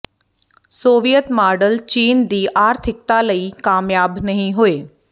Soviet model ਚੀਨ ਦੀ ਆਰਥਿਕਤਾ ਲਈ ਕਾਮਯਾਬ ਨਹੀਂ ਹੋਏ